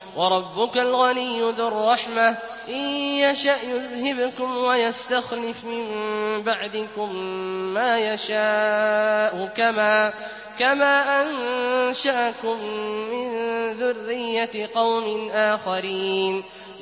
وَرَبُّكَ الْغَنِيُّ ذُو الرَّحْمَةِ ۚ إِن يَشَأْ يُذْهِبْكُمْ وَيَسْتَخْلِفْ مِن بَعْدِكُم مَّا يَشَاءُ كَمَا أَنشَأَكُم مِّن ذُرِّيَّةِ قَوْمٍ آخَرِينَ